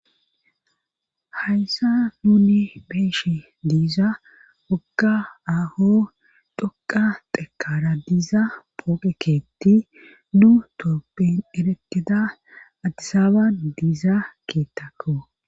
hayssa nuni be'eshie diiza wogga aho dhoqa tekara diiza pooqekeetti nu toophin eretida addisaaban diiza keettakko